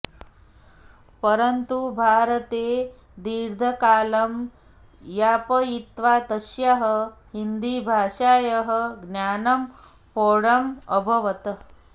परन्तु भारते दीर्घं कालं यापयित्वा तस्याः हिन्दीभाषायाः ज्ञानं प्रौढम् अभवत्